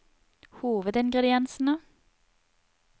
hovedingrediensene